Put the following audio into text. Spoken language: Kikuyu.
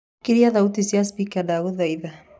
kĩria thaũtĩ cĩa spika ndagũthaĩtha